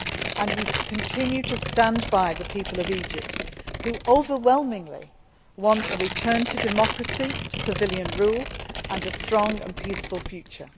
And we continue to stand by the people of Egypt who overwhelmingly want a return to democracy, to civilian rule and a strong and peaceful future.